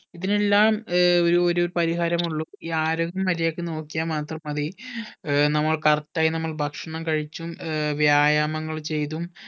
ഇതിനെല്ലാം ഏർ ഒരു ഒരു പരിഹാരം ഉള്ളു ഈ ആരോഗ്യം മര്യാദക്ക് നോക്കിയാ മാത്രം മതി ഏർ നമ്മൾ correct ആയി നമ്മൾ ഭക്ഷണം കഴിച്ചും ഏർ വ്യായാമങ്ങൾ ചെയ്‌തും